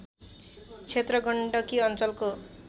क्षेत्र गण्डकी अञ्चलको